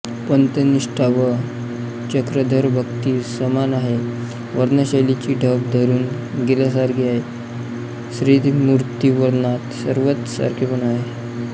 पंथनिष्ठा व चक्रधरभक्ती समान आहे वर्णनशैलीची ढब ठरून गेल्यासारखी आहे श्रीमूर्तिवर्णनात सर्वत्र सारखेपणा आहे